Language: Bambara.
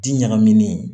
Ti ɲagaminen